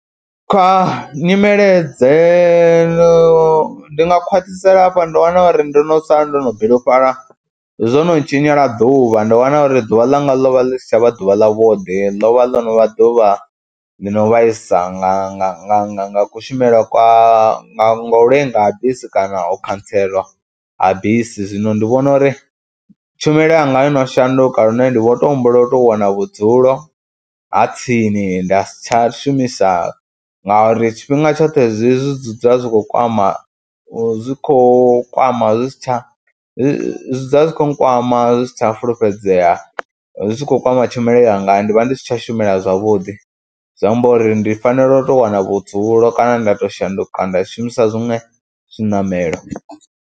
Kha nyimele dze, ndi nga khwaṱhisela hafho, ndo wana uri ndo no sala ndo no bilufhala zwo no ntshinyela ḓuvha, ndo wana uri ḓuvha ḽanga ḽo vha ḽi si tsha vha ḓuvha ḽavhuḓi ḽo vha ḽo no vha ḓuvha ḽi no vhaisa nga nga nga nga nga kushumele kwa, nga u lenga ha bisi kana u khantselwa ha bisi. Zwino ndi vhona uri tshumelo yanga yo no shanduka lune nḓi vho tou humbula u tou wana vhudzulo ha tsini, nda si tsha shumisa ngauri tshifhinga tshoṱhe zwi dzula zwi khou kwama, zwi khou kwama zwi si tsha, zwi dzula zwi khou nkwama zwi si tsha a fulufhedzea zwi tshi khou kwama tshumelo yanga. Ndi vha ndi si tsha shumela zwavhuḓi zwi amba uri ndi fanela u tou wana vhudzulo kana nda tou shanduka nda shumisa zwiṅwe zwiṋamelo.